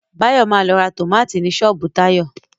Báyọ̀ ma lọ ra tómátì ni ṣọ́ọ̀bú Táyọ̀